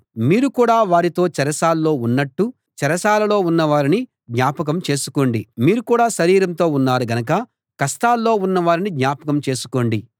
మీరు కూడా వారితో చెరసాల్లో ఉన్నట్టు చెరసాలలో ఉన్న వారిని జ్ఞాపకం చేసుకోండి మీరు కూడా శరీరంతో ఉన్నారు గనక కష్టాల్లో ఉన్న వారిని జ్ఞాపకం చేసుకోండి